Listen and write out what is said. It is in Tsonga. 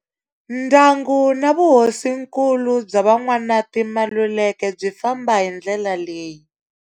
Ndyangu na vuhosinkulu bya Van'wanati Maluleke byi famba hi ndlela leyi.